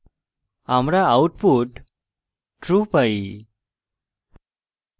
আমরা output true পাই